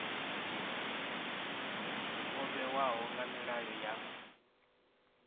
o vhewaho nga milayo ya